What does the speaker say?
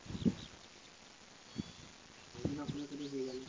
হ্যাঁ ওই জন্য শুধু শুধু রয়ে গেলো।